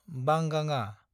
बांगाङा